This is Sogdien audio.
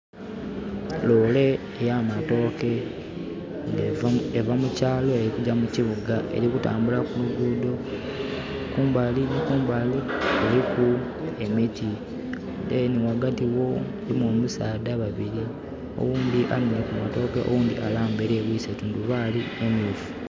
Loole ya matooke eva mukyalo eri kugya mukibiga eri kutambula ku luguudo. Kumbali kuliku emiti. ...... wagati wo erimu basaadha babiri. Owundi ayemereire kumatooke owundi alambaire yebwise tundubali emyufu